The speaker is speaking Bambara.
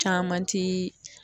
Caman ti